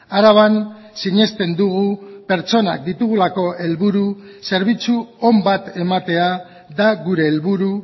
araban sinesten dugu pertsonak ditugulako helburu zerbitzu on bat ematea da gure helburu